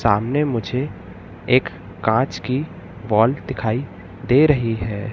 सामने मुझे एक कांच की बॉल दिखाई दे रही है।